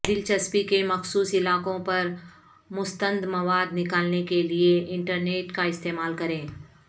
دلچسپی کے مخصوص علاقوں پر مستند مواد نکالنے کے لئے انٹرنیٹ کا استعمال کریں